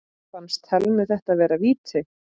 Fannst Thelmu þetta vera víti?